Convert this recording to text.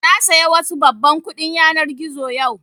Na saya wasu babban kuɗin yanar gizo yau